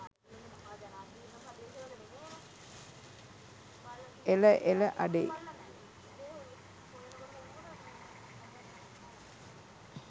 එල එල අඩේ